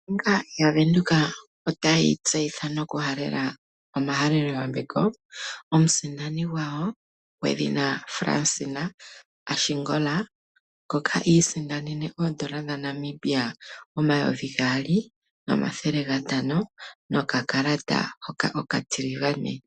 Ombaanga yaVenduka otayi tseyitha noku halela omahalelo yambeko komusindani gwawo gwedhina Fransina Ashingola, ngoka iisindanene Oodolla dhaNamibia omayovi gaali nomathele gantano nokakalata hoka okatiligane.